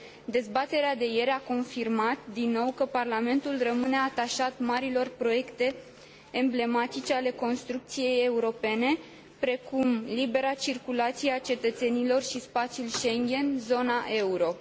Dezbaterea de ieri a confirmat din nou că Parlamentul rămâne atașat marilor proiecte emblematice ale construcției europene, precum libera circulație a cetățenilor și spațiul Schengen, zona euro.